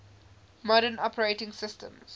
modern operating systems